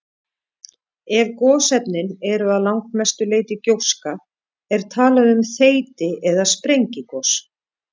Ef gosefnin eru að langmestu leyti gjóska er talað um þeyti- eða sprengigos.